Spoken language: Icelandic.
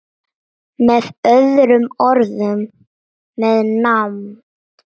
Með öðrum orðum- með nánd.